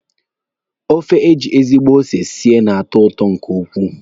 Ofe eji ezigbo ose sie na-atọ ụtọ nke ukwuu.